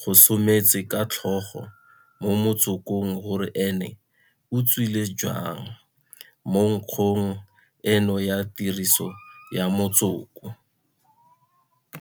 gosometse ka tlhogo mo motsokong gore ene o tswile jang mo nkgong eno ya tiriso ya motsoko.